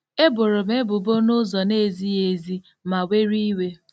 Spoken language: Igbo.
E boro m ebubo n’ụzọ na-ezighị ezi ma were iwe.